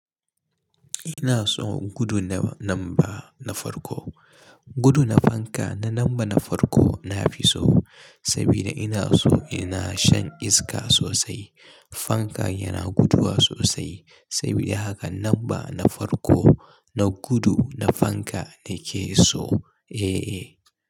Ina so in gudu na namba na farko. Gudu na fanka na namba na farko na fi so saboda ina so ina shan iska sosai. Fanka yana guduwa sosai saboda haka namba na farko na gudu na fanka ne ke so. Eh, eh.